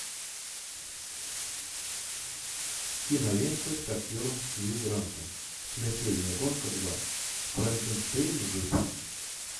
кинолента с актером хью грантом смертельная гонка два франкенштейн жив